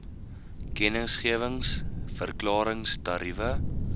kennisgewings verklarings tariewe